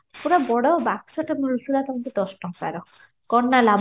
ବଡ ବାକ୍ସଟେ ମିଳୁଥିଲା ଦଶ ଟଙ୍କାର କଣ ନା ଲାଭ